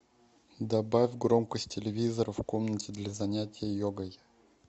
добавь громкость телевизора в комнате для занятия йогой